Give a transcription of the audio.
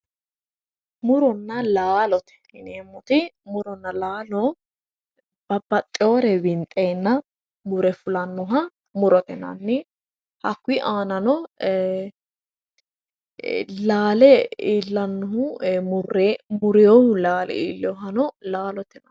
Muronna laalote yineemmoti, muronna laalo babbaxewore winxenna mure fullanoha murote yinnanni hakkuyi aanano laale iillanohu murinohu laale iillinoha laalote yinnanni.